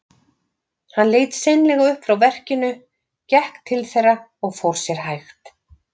Hann leit seinlega upp frá verkinu, gekk til þeirra og fór sér hægt.